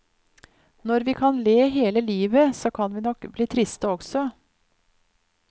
Når vi kan le hele livet, så kan vi nok bli triste også.